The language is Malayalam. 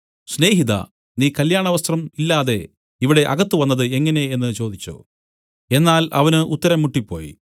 സ്നേഹിതാ നീ കല്യാണവസ്ത്രം ഇല്ലാതെ ഇവിടെ അകത്തുവന്നത് എങ്ങനെ എന്നു ചോദിച്ചു എന്നാൽ അവന് ഉത്തരം മുട്ടിപ്പോയി